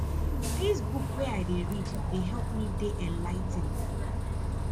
dis book wey i dey read dey help me dey enligh ten ed